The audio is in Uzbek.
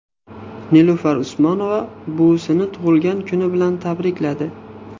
Nilufar Usmonova buvisini tug‘ilgan kuni bilan tabrikladi.